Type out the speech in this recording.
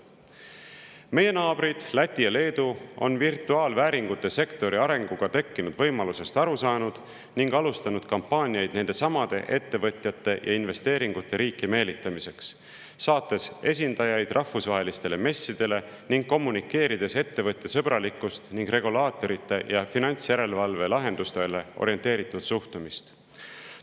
Meie naabrid Läti ja Leedu on virtuaalvääringute sektori arenguga tekkinud võimalusest aru saanud ning alustanud kampaaniaid nendesamade ettevõtjate ja investeeringute riiki meelitamiseks, saates esindajaid rahvusvahelistele messidele ning kommunikeerides ettevõtjasõbralikkust ning regulaatorite ja finantsjärelevalve lahendustele orienteeritud suhtumist.